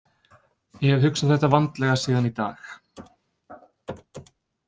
Ég hef hugsað þetta vandlega síðan í dag.